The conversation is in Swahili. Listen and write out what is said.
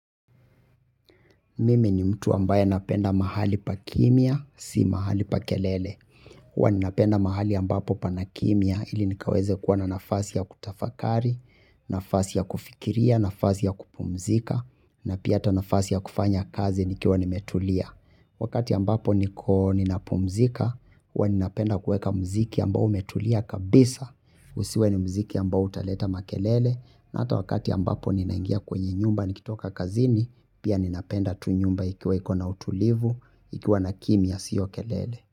Mimi ni mtu ambaye napenda mahali pa kimya, si mahali pa kelele. Huwa ninapenda mahali ambapo pana kimya ili nikaweze kuwa na nafasi ya kutafakari, nafasi ya kufikiria, nafasi ya kupumzika, na pia hata nafasi ya kufanya kazi nikiwa nimetulia. Wakati ambapo niko ninapumzika huwa ninapenda kuweka muziki ambao umetulia kabisa usiwe ni muziki ambao utaleta makelele na hata wakati ambapo ninaingia kwenye nyumba nikitoka kazini pia ninapenda tu nyumba ikiwa iko na utulivu ikiwa na kimya siyo kelele.